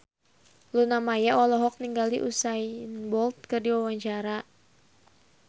Luna Maya olohok ningali Usain Bolt keur diwawancara